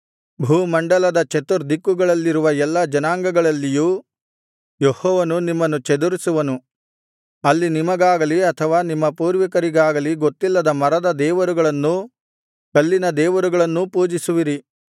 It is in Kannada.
ಭೂಮಂಡಲದ ಚತುರ್ದಿಕ್ಕುಗಳಲ್ಲಿರುವ ಎಲ್ಲಾ ಜನಾಂಗಗಳಲ್ಲಿಯೂ ಯೆಹೋವನು ನಿಮ್ಮನ್ನು ಚದರಿಸುವನು ಅಲ್ಲಿ ನಿಮಗಾಗಲಿ ಅಥವಾ ನಿಮ್ಮ ಪೂರ್ವಿಕರಿಗಾಗಲಿ ಗೊತ್ತಿಲ್ಲದ ಮರದ ದೇವರುಗಳನ್ನೂ ಕಲ್ಲಿನ ದೇವರುಗಳನ್ನೂ ಪೂಜಿಸುವಿರಿ